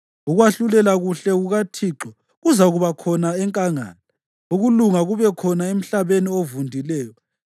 Ukwahlulela kuhle kukaThixo kuzakuba khona enkangala, ukulunga kube khona emhlabeni ovundileyo.